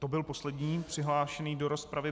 To byl poslední přihlášený do rozpravy.